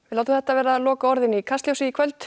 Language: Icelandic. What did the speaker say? látum þetta verða lokaorðin í Kastljósi í kvöld